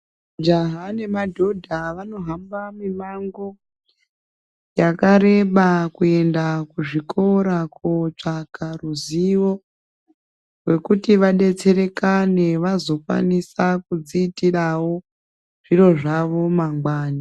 Jaha nemadhodha vanohamba mimango yakareba kuenda kuzvikora kuotsvaka ruzivo rwekuti vadetserekane vazokwanisa kudziitirawo zviro zvawo mangwani.